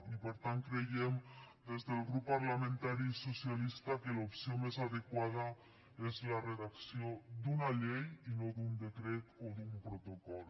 i per tant creiem des del grup parlamentari socialista que l’opció més adequada és la redacció d’una llei i no d’un decret o d’un protocol